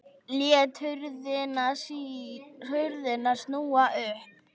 Lét hurðina snúa upp.